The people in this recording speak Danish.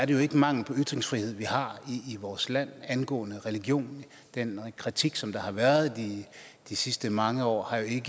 jo ikke mangel på ytringsfrihed vi har i vores land angående religion og den kritik som der har været i de sidste mange år har jo ikke